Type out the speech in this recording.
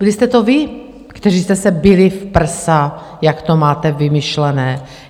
Byli jste to vy, kteří jste se bili v prsa, jak to máte vymyšlené.